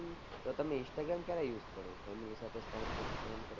તો તમે instagram ક્યારે use કરો family સાથે time spent કરો